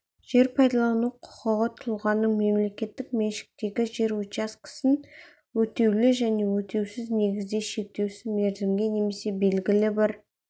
жер пайдалану құқығы тұлғаның мемлекеттік меншіктегі жер учаскесін өтеулі және өтеусіз негізде шектеусіз мерзімге немесе белгілі бір